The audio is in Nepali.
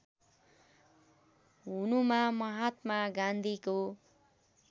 हुनुमा महात्मा गान्धीको